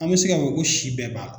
An bɛ se k'a fɔ ko si bɛɛ b'a la.